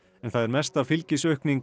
það er mesta fylgisaukning